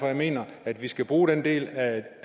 jeg mener at vi skal bruge den del af